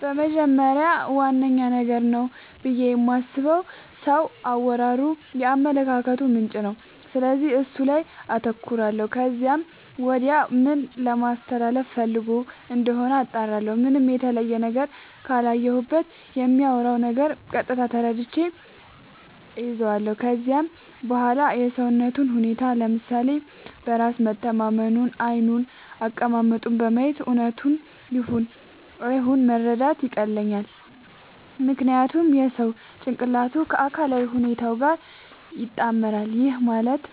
በመጀመሪያ ዋነኛ ነገር ነው ብዬ የማስበው የሰው አወራሩ የአመለካከቱ ምንጭ ነው፤ ስለዚህ እሱ ላይ አተኩራለው ከዚያም ወዲያ ምን ለማለስተላለፋ ፈልጎ እንደሆነ አጣራለሁ። ምንም የተለየ ነገር ካላየሁበት በሚያወራው ነገር ቀጥታ ተረድቼ እይዛለው። ከዚያም በዋላ የሰውነቱን ሁኔታ፤ ለምሳሌ በራስ መተማመኑን፤ ዓይኑን፤ አቀማመጡን በማየት እውነቱን ይሁን አይሁን መረዳት ያቀልልኛል። ምክንያቱም የሰው ጭንቅላቱ ከአካላዊ ሁኔታው ጋር ይጣመራል። ይህም ማለት